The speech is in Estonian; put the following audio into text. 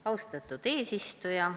Austatud eesistuja!